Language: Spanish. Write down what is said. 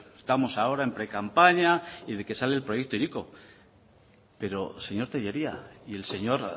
estamos ahora en precampaña y de que sale el proyecto hiriko pero señor tellería y el señor